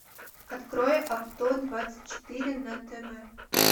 открой авто двадцать четыре на тв